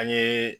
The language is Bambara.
An ye